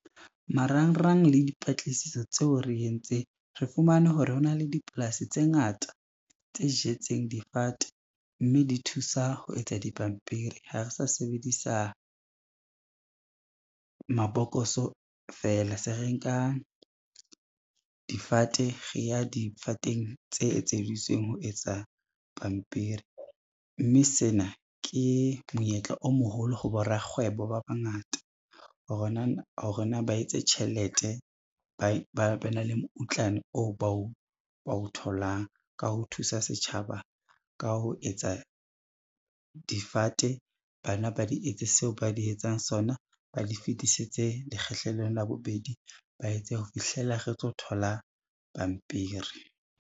Marangrang le dipatlisiso tseo re entseng, re fumane hore ho na le dipolasi tse ngata tse jetseng difate, mme di thusa ho etsa dipampiri, ha re sa sebedisa mabokoso fela se re nka difate, re ya difateng tse etseditsweng ho etsa pampiri. Mme sena ke monyetla o moholo ho borakgwebo ba bangata hore na ba etse tjhelete, ba ba ne le moutlwane oo bao o tholang ka ho thusa setjhaba ka ho etsa difate ba na ba di etse seo ba di etsang sona, ba di fetisetse lekgahlelong la bobedi, ba etse ho fihlela re tlo thola pampiri.